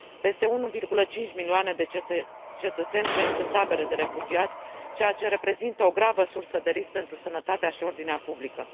Peste 1,5 milioane de cetățeni trăiesc în tabere de refugiați, ceea ce reprezintă o gravă sursă de risc pentru sănătatea și ordinea publică.